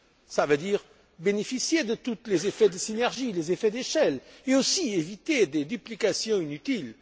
Cela veut dire bénéficier de tous les effets de synergie, des effets d'échelle, mais aussi éviter des duplications inutiles.